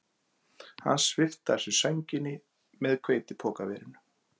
Hann svipti af sér sænginni með hveitipokaverinu